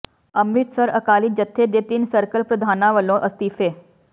ਅੰਮ੍ਰਿਤਸਰ ਅਕਾਲੀ ਜਥੇ ਦੇ ਤਿੰਨ ਸਰਕਲ ਪ੍ਰਧਾਨਾਂ ਵੱਲੋਂ ਅਸਤੀਫ਼ੇ